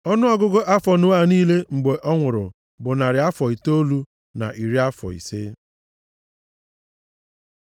Ọnụọgụgụ afọ Noa niile mgbe ọ nwụrụ, bụ narị afọ itoolu na iri afọ ise.